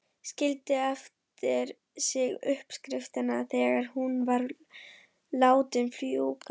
Skildi eftir sig uppskriftina þegar hún var látin fjúka.